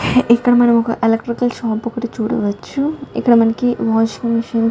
ఇక్కడ మనం ఒక ఎలక్ట్రికల్ షాప్ ఒకటి చూడవచ్చును ఇక్కడ మనకి వాషింగ్ మిషన్ --